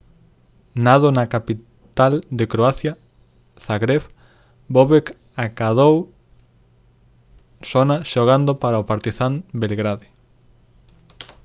nado na capital de croacia zagreb bobek acadou sona xogando para o partizan belgrade